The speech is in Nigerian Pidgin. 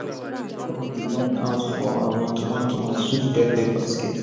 my sista draw fine design out for our tomato and sweet pepper basket